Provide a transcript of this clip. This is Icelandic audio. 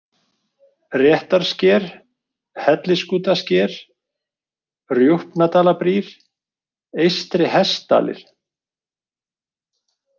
Réttarsker, Hellisskútasker, Rjúpnadalabrýr, Eystri-Hestdalir